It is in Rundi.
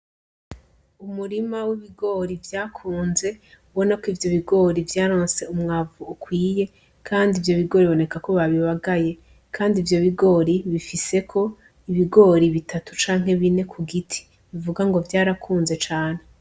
Umurima w'ibigori vyakuze ubonako ivyobigori vyaronse umwavu ukwiye Kandi ivyobigori bibonekako babibagaye Kandi ivyobigori bifiseko ibigori bitatu canke bine kugiti, bivugango vyarakunze cane.